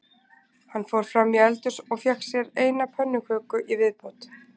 Hann fór fram í eldhús og fékk sér eina pönnuköku í viðbót